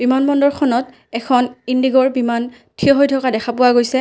বিমান বন্দৰখনত এখন ইন্দিগোৰ বিমান থিয় হৈ থকা দেখা পোৱা গৈছে।